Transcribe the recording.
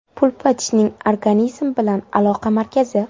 Pulpa tishning organizm bilan aloqa markazi.